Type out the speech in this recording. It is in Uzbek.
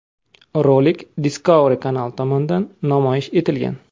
Rolik Discovery kanali tomonidan namoyish etilgan.